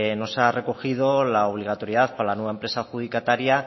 no se ha recogido la obligatoriedad para la nueva empresa adjudicataria